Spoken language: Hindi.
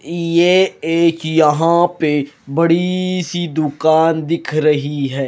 ये एक यहां पे बड़ी सी दुकान दिख रही है।